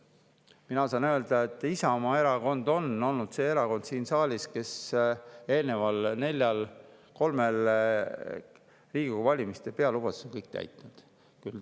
Ma saan öelda, et Isamaa Erakond on olnud siin saalis see erakond, kes on kõik eelneva kolme-nelja Riigikogu valimiste pealubadused täitnud.